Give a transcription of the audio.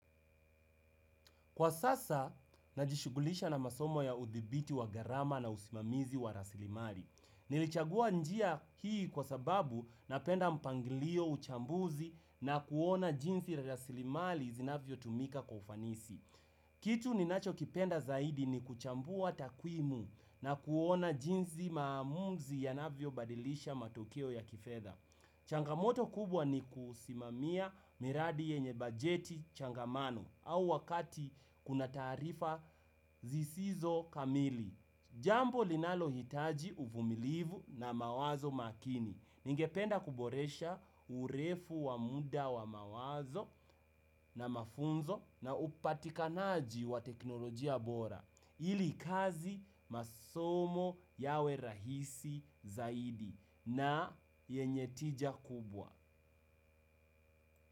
Kwa sasa, najishughulisha na masomo ya udhibiti wa gharama na usimamizi wa rasilimali. Nilichagua njia hii kwa sababu napenda mpangilio uchambuzi na kuona jinsi ya rasilimali zinavyo tumika kwa ufanisi. Kitu ninacho kipenda zaidi ni kuchambua takwimu na kuona jinsi maamuzi yanavyo badilisha matokeo ya kifedha. Changamoto kubwa ni kusimamia miradi yenye bajeti changamano au wakati kuna tarifa zisizo kamili. Jambo linalo hitaji uvumilivu na mawazo makini. Ningependa kuboresha urefu wa muda wa mawazo na mafunzo na upatikanaji wa teknolojia bora. Ili kazi masomo yawe rahisi zaidi na yenye tija kubwa.